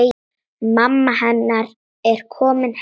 Mamma hennar er komin heim.